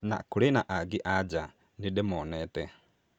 Na kũrĩ angĩ anja nĩ ‘’ndimuonete’’